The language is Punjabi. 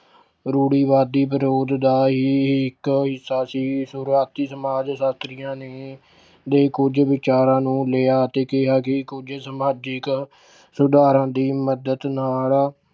ਰੂੜੀਵਾਦੀ ਵਿਰੋਧ ਦਾ ਹੀ ਇੱਕ ਹਿੱਸਾ ਸੀ। ਸ਼ੁਰੂਆਤੀ ਸਮਾਜ ਸ਼ਾਸ਼ਤਰੀਆਂ ਨੇ ਦੇ ਕੁੱਝ ਵਿਚਾਰਾਂ ਨੂੰ ਲਿਆ ਅਤੇ ਕਿਹਾ ਕਿ ਕੁੱਝ ਸਮਾਜਿਕ ਸੁਧਾਰਾਂ ਦੀ ਮੱਦਦ ਨਾਲ